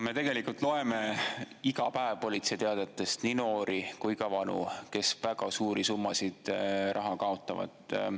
Me loeme iga päev politseiteadetest nii noori kui ka vanu, kes väga suuri summasid raha kaotavad.